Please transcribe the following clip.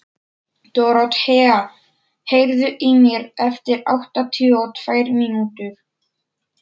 Dorothea, heyrðu í mér eftir áttatíu og tvær mínútur.